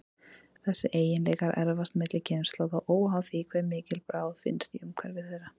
Þessir eiginleikar erfast milli kynslóða, óháð því hve mikil bráð finnst í umhverfi þeirra.